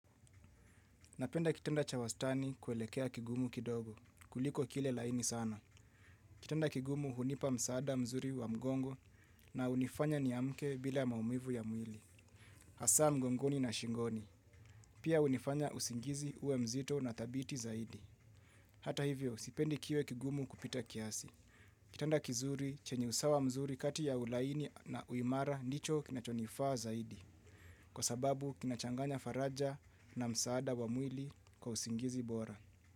Napenda kitanda cha wastani kuelekea kigumu kidogo, kuliko kile laini sana. Kitanda kigumu hunipa msaada mzuri wa mgongo na hunifanya niamke bila maumivu ya mwili. Hasa mgongoni na shingoni. Pia hunifanya usingizi uwe mzito na dhabiti zaidi. Hata hivyo, sipendi kiwe kigumu kupita kiasi. Kitanda kizuri chenye usawa mzuri kati ya ulaini na uimara ndicho kinachonifaa zaidi. Kwa sababu kinachanganya faraja na msaada wa mwili kwa usingizi bora.